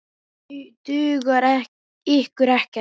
Dugar ykkur ekkert?